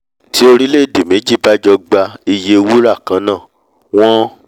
tí orílẹ̀èdè méjì bá jọ gba iye wúrà kannáà wọ́n